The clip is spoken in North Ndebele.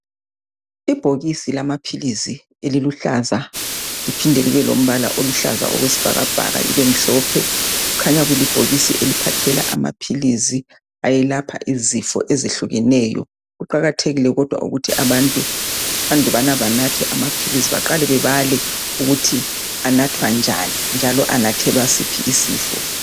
Ibhokisi lamaphilizi eliluhlaza liphinde libe lombala oluhlaza okwesibhakabhaka libemhlophe kukhanya kulibhokisi eliphathela amaphilizi ayelapha izifo ezehlukeneyo kuqakathekile kodwa ukuthi abantu andubana banathe amaphilisi baqale bebale ukuthi anathwa njani njalo anathelwa siphi isifo.